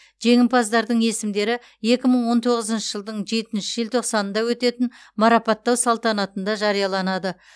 жеңімпаздардың есімдері екі мың он тоғызыншы жылдың жетінші желтоқсанында өтетін марапаттау салтанатында жарияланады